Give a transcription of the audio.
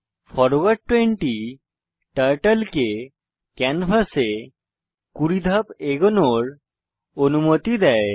forward 20 turtle কে ক্যানভাসে 20 ধাপ এগোনোর অনুমতি দেয়